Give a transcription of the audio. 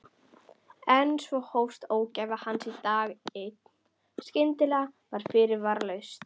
En svo hófst ógæfa hans dag einn, skyndilega og fyrirvaralaust.